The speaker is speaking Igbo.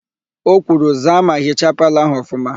O kwuru, "zaa ma hichaa palọ ahụ ọfụma"!